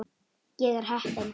Ég er heppin.